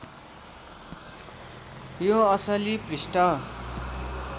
त्यो असलि पृष्ठ